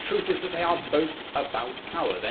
The truth is that they are both about power.